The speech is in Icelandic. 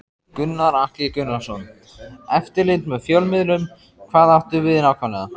Gunnar Atli Gunnarsson: Eftirlit með fjölmiðlum, hvað áttu við nákvæmlega?